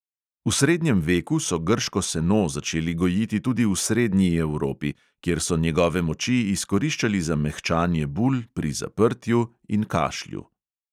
V srednjem veku so grško seno začeli gojiti tudi v srednji evropi, kjer so njegove moči izkoriščali za mehčanje bul, pri zaprtju in kašlju.